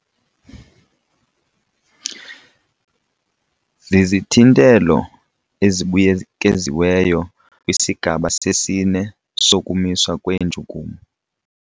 Zizithintelo ezibuyekiziweyo kwisigaba sesine sokumiswa kweentshukumo.